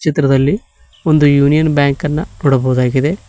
ಚಿತ್ರದಲ್ಲಿ ಒಂದು ಯೂನಿಯನ್ ಬ್ಯಾಂಕನ್ನ ನೋಡಬಹುದಾಗಿದೆ.